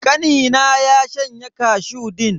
Kanina ya shanye kashu din.